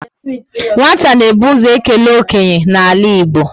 Nwata na ebu ụzọ ekele okenye n'ala Igbo